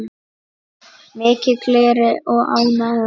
Mikil gleði og ánægja.